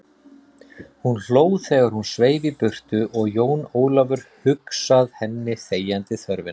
Hún hló þegar hún sveif í burtu og Jón Ólafur hugsað henni þegjandi þörfina.